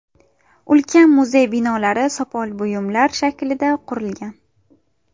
Ulkan muzey binolari sopol buyumlar shaklida qurilgan.